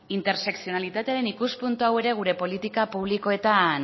intertsekzionalitatearen ikuspuntu hau ere gure politika publikoetan